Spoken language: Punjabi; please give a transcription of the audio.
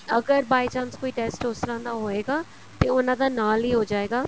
ਅਗਰ by chance ਕੋਈ ਟੇਸਟ ਉਸ ਤਰ੍ਹਾਂ ਦਾ ਹੋਏਗਾ ਤੇ ਉਹਨਾ ਦਾ ਨਾਲ ਹੀ ਹੋ ਜਾਏਗਾ